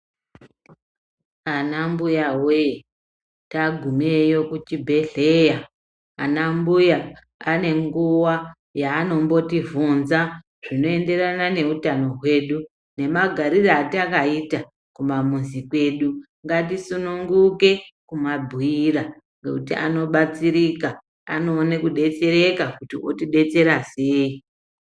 Anambuya wee tagumeyo kuchibhehleya, anambuya anenguva yaanombotivhunza zvinoenderana neutano hwedu, nemagarire atakaita kumamuzi kwedu. Ngatisununguke kumabhuira ngekuti anobatsirika, anoone kudetsereka kuti otidetsera sei.